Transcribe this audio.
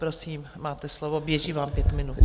Prosím, máte slovo, běží vám pět minut.